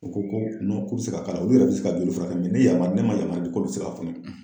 U ko ko k'u tɛ se ka k'a la olu yɛrɛ bɛ se ka joli furakɛ ni yamaruya ni, ne ma yamaru di k'olu tɛ se k'a foni